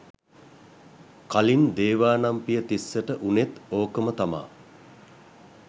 කලින් දේවානම් පිය තිස්සට වුනෙත් ඕකම තමා